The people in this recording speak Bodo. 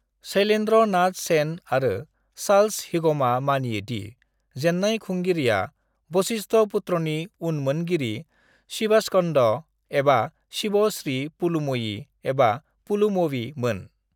शैलेन्द्र नाथ सेन आरो चार्ल्स हिगमआ मानियो दि जेन्नाय खुंगिरिया वशिष्ठपुत्रनि उनमोनगिरि शिवास्कन्द एबा शिव श्री पुलुमयी (एबा पुलुमवी) मोन।